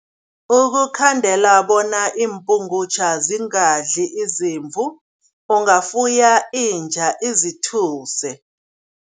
Ukukhandela bona iimpungutjha bona zingadli izimvu, ungafuya inja, izithuse.